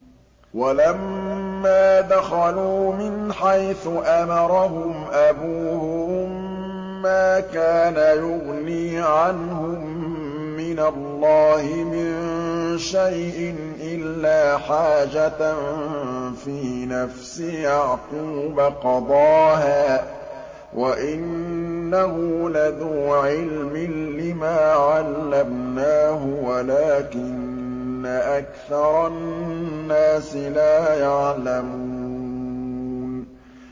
وَلَمَّا دَخَلُوا مِنْ حَيْثُ أَمَرَهُمْ أَبُوهُم مَّا كَانَ يُغْنِي عَنْهُم مِّنَ اللَّهِ مِن شَيْءٍ إِلَّا حَاجَةً فِي نَفْسِ يَعْقُوبَ قَضَاهَا ۚ وَإِنَّهُ لَذُو عِلْمٍ لِّمَا عَلَّمْنَاهُ وَلَٰكِنَّ أَكْثَرَ النَّاسِ لَا يَعْلَمُونَ